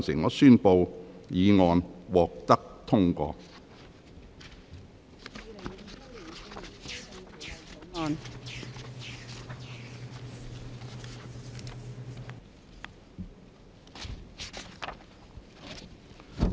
我宣布議案獲得通過。